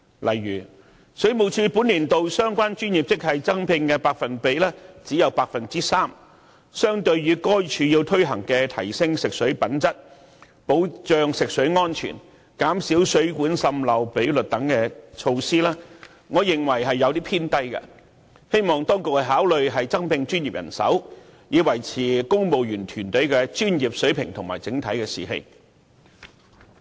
例如，水務署本年度相關專業職系增聘的百分比只有 3%， 相對該署要推行的提升食水品質、保障食水安全及減少水管滲漏比率等措施，我認為有些偏低，希望當局可以考慮增聘專業人手，以維持公務員團隊的專業水平和整體士氣。